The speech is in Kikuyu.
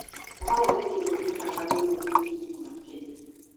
Kahua nĩ kĩndũ kĩa bata mũno bũrũri-inĩ wa Kenya.